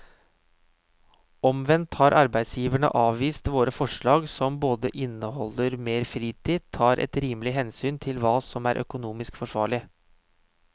Omvendt har arbeidsgiverne avvist våre forslag som både inneholder mer fritid og tar et rimelig hensyn til hva som er økonomisk forsvarlig.